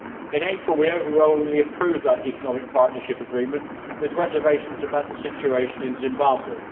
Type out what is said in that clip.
In April we overwhelmingly approved that Economic Partnership Agreement with reservations about the situation in Zimbabwe.